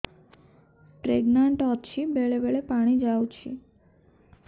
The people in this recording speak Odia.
ପ୍ରେଗନାଂଟ ଅଛି ବେଳେ ବେଳେ ପାଣି ଯାଉଛି